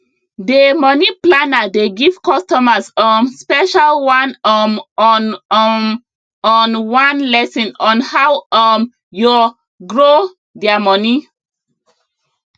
dey money planner dey give costumers um special one um on um on one lesson on how um yo grow their money